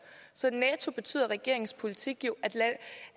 så netto betyder regeringens politik jo